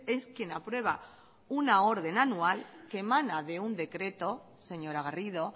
es quien aprueba una orden anual que emana de un decreto señora garrido